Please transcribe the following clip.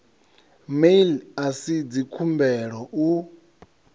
mail a si dzikhumbelo u